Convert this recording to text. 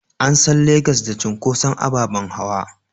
An san Legas da cunkoson ababen hawa.